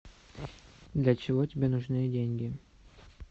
для чего тебе нужны деньги